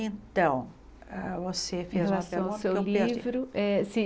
Então, hã você fez uma pergunta que eu per Eh se